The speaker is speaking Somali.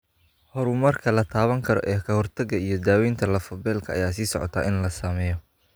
Horumarka la taaban karo ee ka hortagga iyo daawaynta lafo-beelka ayaa sii socota in la sameeyo.